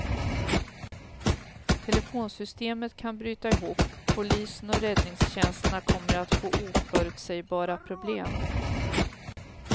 Telefonsystemen kan bryta ihop, polisen och räddningstjänsterna kommer att få oförutsägbara problem.